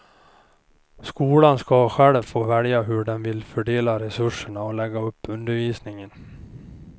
Skolan ska själv få välja hur de vill fördela resurserna och lägga upp undervisningen.